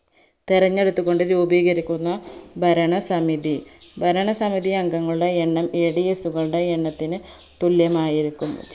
തെരഞ്ഞെടുത്തുകൊണ്ട് രൂപീകരിക്കുന്ന ഭരണസമിതി ഭരണസമിതി അംഗങ്ങളുടെ എണ്ണം Ads കളുടെ എണ്ണത്തിന് തുല്യമായിരിക്കും